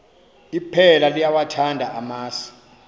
iphela liyawathanda amasi